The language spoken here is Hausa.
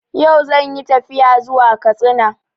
Yau zan yi tafiya zuwa Katsina